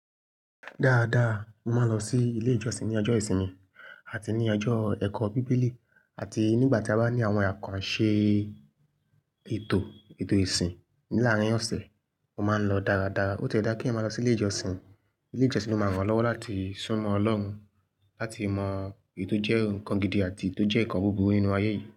Dáadáa, mo máa ń lọ sí ilé ìjọsìn ní ọjọ́ ìsinmi àti ní ọjọ́ ẹ̀kọ́ Bíbélì àti nígbà tí a bá ní àwọn àkànṣe ètò, ètò ìsìn láàárín ọ̀sẹ̀, mo máa ń lọ dáradára. Ó ti ẹ́ dá kí eyan máa lọ sí ilé ìjọsìn. Ilé ìjọsìn ló máa ń rànlọ́wọ́ láti súnmọ́ Ọlọ́run, láti mọ èyi tò jẹ́ nǹkan gidi àti tó jẹ́ ǹkan búburú nínú ayé yìí.